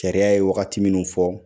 Sariya ye wagati minun fɔ